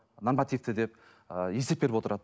нормативті деп ы есеп беріп отырады